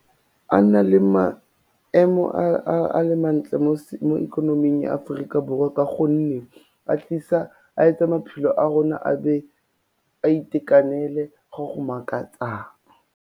A nne le maemo a le mantle mo ikonoming ya Aforika Borwa ka gonne a etsa maphelo a rona a be a itekanele go go makatsang.